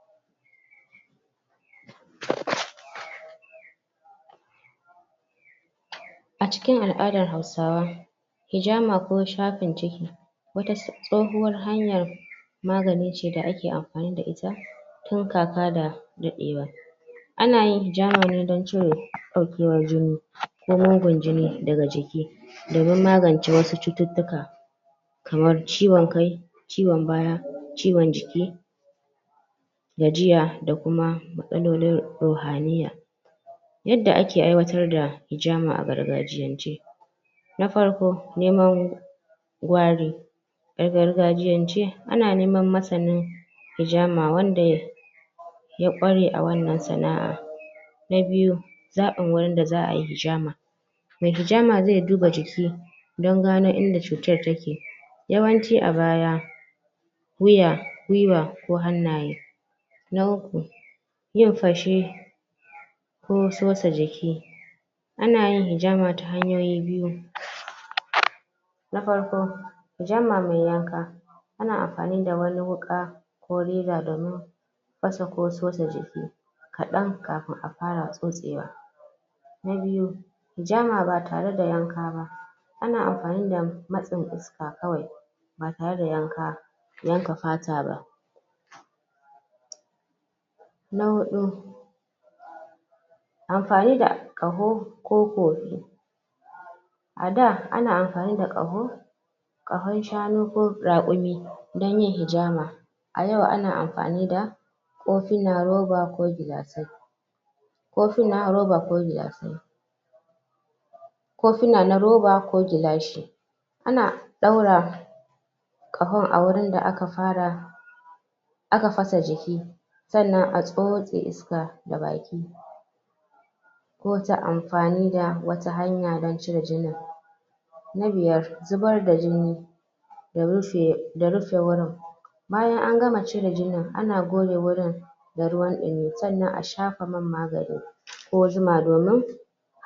(??????) acikin a'adan hausawa ijama ko shafin ciki wata tsohuwar hanya maganice da ake amfanida ita (??????) anayin ijama ne don cire daukewan jini ko mugun jini daga jiki domin magance wasu cututtuka kamar ciwon kai ciwon baya, ciwon jiki gajiya da kuma matsalolin rohaniya yadda ake aiwatar da hijama a gargajiyance na farko neman gawari a gargajiyance ana neman masanin ijama wanda ya kware a wannan sana'a na biyu zabin wurinda za'ayi ijama mai ijama ze duba jiki don gano inda cutar take yawanci abaya wuya, gwiwa ko hannanye na uku yin fashe ko tsotsa jiki anayin ijama ta hanyoyi biyu (??????) na farko ijama me yanka ana amfanida wani wuka ko reza domin fasa ko tsutsa jiki kadan kafin afara tsotsewa nabiya ijama ba tareda yanka ba ana amfani da matsin iska kawai ba tareda yanka yanka fataba na hudu amfanida kaho koko ada ana amfanida kaho kahon shanu ko rakumi don yin ijama a yau ana amfanida kofinan roba ko gilasai kofina roba ko gilasai kofina na roba ko gilashi ana daura kahon a wurinda aka fara aka fasa jiki sa'anan a tsotse iska da baki to ta amfanida wata hanya don cire jini na biyar zubarda jini da rufe da rufe wuran bayan an gama cire jinin ana goge wurin da ruwan dimi sa'anan a shafa magani ko zuma domin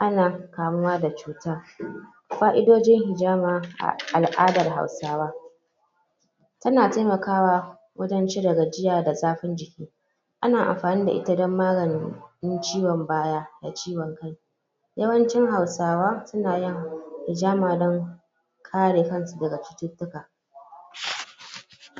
ana kamuwa da cuta fa'idodin ijama al'adar hausawa suna taimakawa wajan cire gajiya da zafin jiki ana amfani da ita don magani na ciwon baya da ciwon kai yawanci hausawa sunayin ijama don kare kansu daga cututtuka